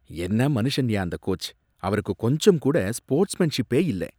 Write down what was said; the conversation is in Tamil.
என்ன மனுஷன்யா அந்த கோச், அவருக்கு கொஞ்சம்கூட ஸ்போர்ட்ஸ்மேன்ஷிப்பே இல்ல